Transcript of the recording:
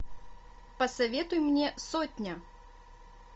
посоветуй мне сотня